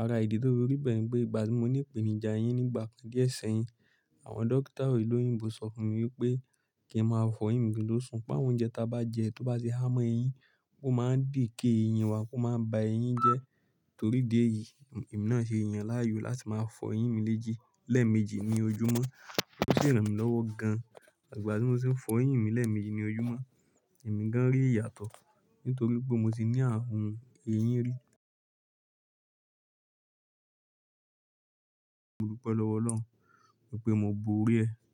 Ara ìdí to fi rí bẹ́ẹ̀ ní pé, ìgbà tí mo ní ìpènìjà ẹyín nígbà kan díẹ̀ sẹ́yìn, àwọn dókítà òloyìnbó sọ fún mi wípé kín máa fọ ẹyín mi kin tóṣùn. Pé àwọn oúnjẹ ta bá jẹ tó bá ti há mọ ẹyín, ó máa decay ẹyín wa, ó máa ba ẹyín jẹ́. Torí ìdí èyí, èmi náà ṣe yaan láàyò láti máa fọ ẹyín mi meji- lẹ́ẹ̀méjì ní ojúmọ́. Ó ṣi ranmi lọ́wọ́ gan. Ìgbà tí mo tiń fọ ẹyín mi lẹ́ẹ̀méjì ní ojúmọ́, èmi gan-an rí ìyàtọ̀ nítorí pé mo ti ní ààrùn ẹyín rí. Mo dúpẹ́ lọ́wọ́ Ọlọ́run wípé mo bori ẹ.